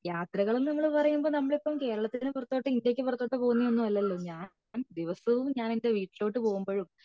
യാത്രകൾ എന്ന പറയുമ്പോ നമ്മൾ കേരളത്തിന് പുറത്തോട്ട് ഇന്ത്യക്ക് പുറത്തോട്ടത് പോകുന്നത് അല്ലാലോ ഞാൻ ദിവസവും ഞാൻ എന്റെ വീട്ടിലോട്ട് പോകുമ്പോഴും